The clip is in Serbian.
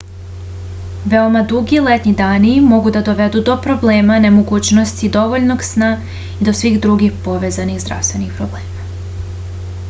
veoma dugi letnji dani mogu da dovedu do problema nemogućnosti dovoljnog sna i do svih drugih povezanih zdravstvenih problema